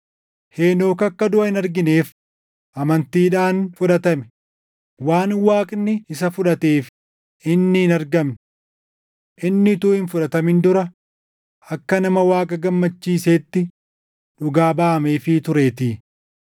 Henook akka duʼa hin argineef amantiidhaan fudhatame; waan Waaqni isa fudhateef inni hin argamne. + 11:5 \+xt Uma 5:24\+xt* Inni utuu hin fudhatamin dura akka nama Waaqa gammachiiseetti dhugaa baʼameefii tureetii.